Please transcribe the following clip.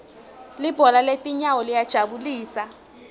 libhola letinyawo liyajabulisa